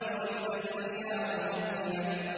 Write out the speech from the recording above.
وَإِذَا الْعِشَارُ عُطِّلَتْ